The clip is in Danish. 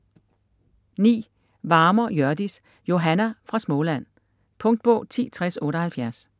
Varmer, Hjørdis: Johanna fra Småland Punktbog 106078